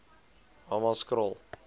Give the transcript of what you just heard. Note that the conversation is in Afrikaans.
hammanskraal